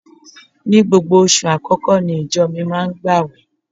Ní gbogbo oṣù àkọ́kọ́ ní ìjọ mi máa ń gbàwẹ̀